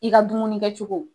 I ka dumuni kɛ cogow